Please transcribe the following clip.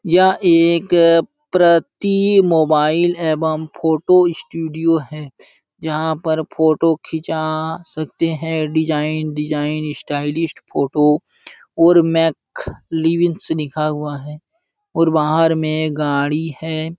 यह एक प्रति मोबाइल एवं फोटो स्टूडियो है| जहाँ पर फोटो खींचा आ सकते हैं डिज़ाइन डिज़ाइन स्टाइलिस्ट फोटो और मैक लिविंस लिखा हुआ है और बाहर में गाडी है।